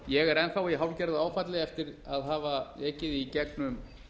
ég er enn þá í hálfgerðu áfalli eftir að hafa ekið í gegnum